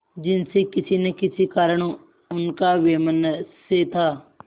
जिनसे किसी न किसी कारण उनका वैमनस्य था